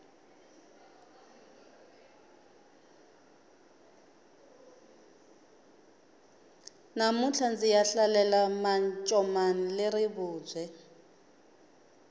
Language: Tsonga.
namuntlha ndziya hlalela mancomani le rivubye